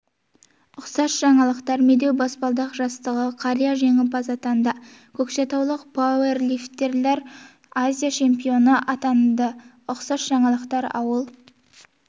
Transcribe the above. ұқсас жаңалықтар медеу баспалдақ жастағы қария жеңімпаз атанды көкшетаулық пауэрлифтерлер азия чемпионы атанды ұқсас жаңалықтар ауыл